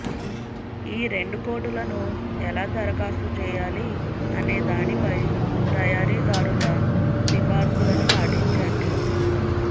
ఈ రెండు కోటులను ఎలా దరఖాస్తు చేయాలి అనేదానిపై తయారీదారుల సిఫార్సులను పాటించండి